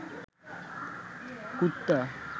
কুত্তা